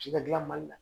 Ci ka gilan mali la